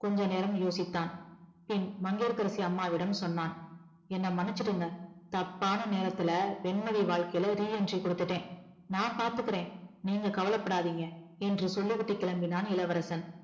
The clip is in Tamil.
கொஞ்ச நேரம் யோசிச்சான் பின் மங்கையகரசி அம்மாவிடம் சொன்னான் என்ன மன்னிச்சுடுங்க தப்பான நேரத்துல வெண்மதி வாழ்க்கைல re entry குடுத்துட்டேன் நான் பாத்துக்கற நீங்க கவலைபடாதீங்க என்று சொல்லிவிட்டு கிளம்பினான் இளவரசன்